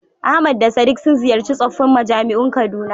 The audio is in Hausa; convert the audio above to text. Ahmad da Sadiq sun ziyarci tsoffin majami'un Kaduna.